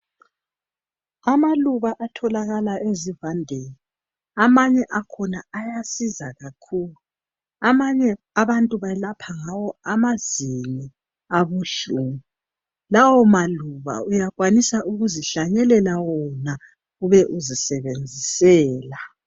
Amaluba atholakala esivandeni amanye akhona ayasiza kakhulu amanengi abantu balapha ngawo amazinyo abuhlungu lawo maluba uyakwanisa ukuzihlanyelela wona ube uzisebenzisela